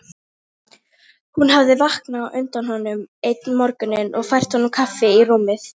Hún hafði vaknað á undan honum einn morguninn og fært honum kaffi í rúmið.